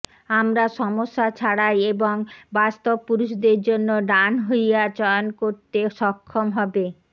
আমরা সমস্যা ছাড়াই এবং বাস্তব পুরুষদের জন্য ডান হইয়া চয়ন করতে সক্ষম হবে